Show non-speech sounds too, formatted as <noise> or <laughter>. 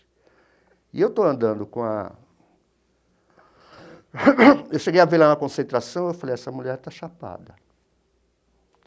E eu estou andando com a... <coughs> Eu cheguei a ver lá na concentração e falei, essa mulher está chapada.